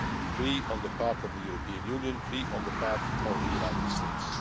three on the part of the European Union, three on the part of the United States.